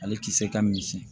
Ale tisɛ ka misɛn